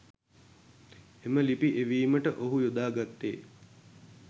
එම ලිපි එවීමට ඔහු යොදා ගත්තේ